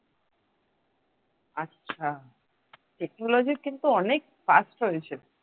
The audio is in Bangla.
আচ্ছা technology কিন্তু অনেক fast হয়েছে।